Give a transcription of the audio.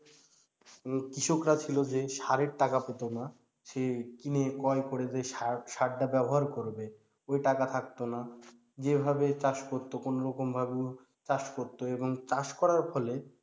কৃষকরা ছিল যে সারের টাকা পেতো না, সে কিনে ক্রয় করে যে সার সারটা ব্যবহার করবে ঐ টাকা থাকতো না, যেভাবে চাষ করতো কোনোরকম ভাবে চাষ করতো এবং চাষ করার ফলে,